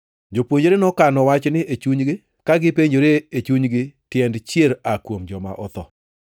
Jopuonjre nokano wachni e chunygi, ka gipenjore e chunygi tiend “chier aa kuom joma otho.”